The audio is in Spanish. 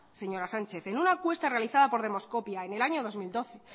señora sánchez en una encuesta realizada por demoscopia en el año dos mil doce